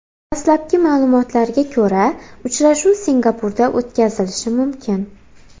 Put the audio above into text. Dastlabki ma’lumotlarga ko‘ra, uchrashuv Singapurda o‘tkazilishi mumkin.